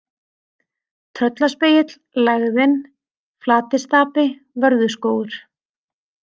Tröllaspegill, Lægðin, Flatistapi, Vörðuskógur